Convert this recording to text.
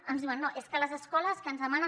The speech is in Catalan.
ens diuen no és que les escoles que ens demanen